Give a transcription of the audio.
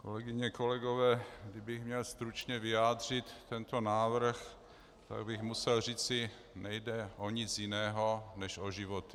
Kolegyně, kolegové, kdybych měl stručně vyjádřit tento návrh, tak bych musel říci: Nejde o nic jiného než o životy.